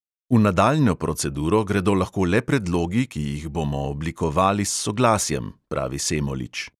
"V nadaljnjo proceduro gredo lahko le predlogi, ki jih bomo oblikovali s soglasjem," pravi semolič.